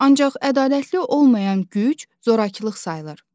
Ancaq ədalətli olmayan güc zorakılıq sayılır.